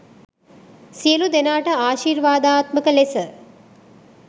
සියලු දෙනාට ආශිර්වාදාත්මක ලෙස